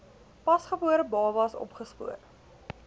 pasgebore babas opgespoor